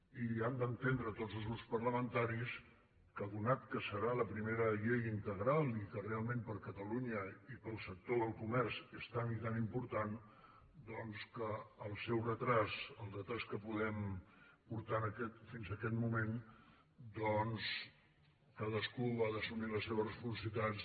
i han d’entendre tots els grups parlamentaris que atès que serà la primera llei integral i que realment per a catalunya i per al sector del comerç és tan i tan important doncs que el seu retard el retard que podem portar fins a aquest moment doncs cadascú ha d’assumir les seves responsabilitats